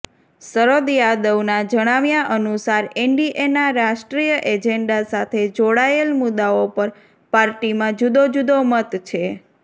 શરદ યાદવના જણાવ્યા અનુસાર એનડીએના રાષ્ટ્રીય એજેન્ડા સાથે જોડાયેલ મુદ્દાઓ પર પાર્ટીમાં જુદોજુદો મત છે